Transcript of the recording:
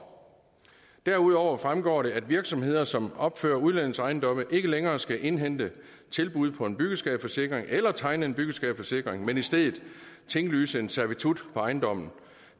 derudover fremgår det at virksomheder som opfører udlejningsejendomme ikke længere skal indhente tilbud på en byggeskadeforsikring eller tegne en byggeskadeforsikring men i stedet tinglyse en servitut på ejendommen